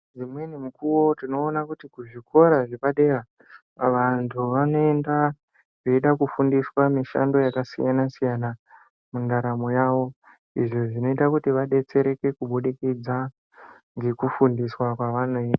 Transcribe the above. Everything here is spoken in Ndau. Imweni mukuwo tinoona kuti kuzvikora zvepadera vantu vanoenda veida kufundiswa mishando yakasiyana siyana mundaramo yavo izvo zvinoita kuti vadetsereke kubudikidza ngekufundiswa kwavanoitwa.